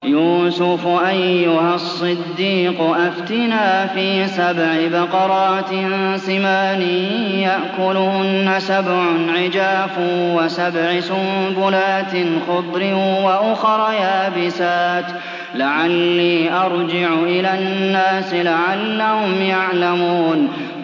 يُوسُفُ أَيُّهَا الصِّدِّيقُ أَفْتِنَا فِي سَبْعِ بَقَرَاتٍ سِمَانٍ يَأْكُلُهُنَّ سَبْعٌ عِجَافٌ وَسَبْعِ سُنبُلَاتٍ خُضْرٍ وَأُخَرَ يَابِسَاتٍ لَّعَلِّي أَرْجِعُ إِلَى النَّاسِ لَعَلَّهُمْ يَعْلَمُونَ